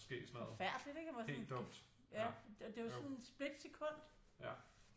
Forfærdeligt ikke at man sådan kan ja det jo sådan et split sekund